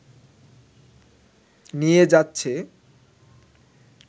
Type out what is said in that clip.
নিয়ে যাচ্ছে